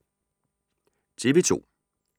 TV 2